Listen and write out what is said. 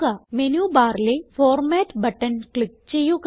menu ബാറിലെ format button click ചെയ്യുക